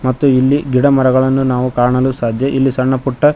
ಮತ್ತು ಇಲ್ಲಿ ಗಿಡಮರಗಳನ್ನು ನಾವು ಕಾಣಲು ಸಾಧ್ಯ ಇಲ್ಲಿ ಸಣ್ಣಪುಟ್ಟ--